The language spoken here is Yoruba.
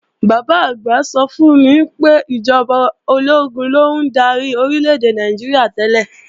Bàbá-àgbà mi sọ fún mi pé ìjọba ológun ló ń darí Orílè-èdè Nàìjíríà tẹ́lẹ̀